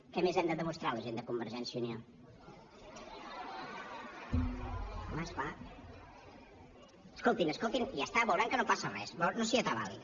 què més hem de demostrar la gent de convergència i unió escoltin escoltin i ja està veuran que no passa res no s’hi atabalin